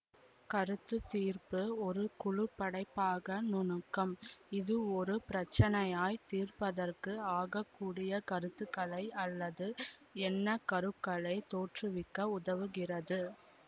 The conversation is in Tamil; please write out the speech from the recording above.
கருத்துதீர்ப்பு ஒரு குழு படைப்பாக்க நுணுக்கம் இது ஒரு பிரச்சினையை தீர்ப்பதற்கு ஆகக்கூடிய கருத்துக்களை அல்லது என்ணக்கருக்களைத் தோற்றுவிக்க உதவுகிறது